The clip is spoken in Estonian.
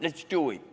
Let's do it!